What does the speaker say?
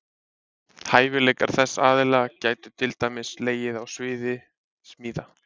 Hæfileikar þess aðila gætu til dæmis legið á sviði smíða.